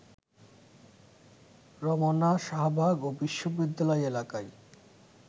রমনা, শাহবাগ ও বিশ্ববিদ্যালয় এলাকায়